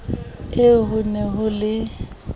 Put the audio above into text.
eo ho ne ho le